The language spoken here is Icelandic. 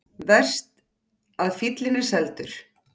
Verst að fíllinn er seldur.